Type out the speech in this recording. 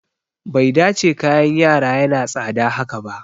Bai dace kayan yara yana tsada haka ba